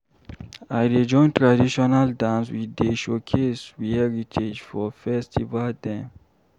I dey join traditional dance we dey showcase we heritage for festival dem.